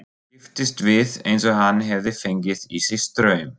Kipptist við eins og hann hefði fengið í sig straum.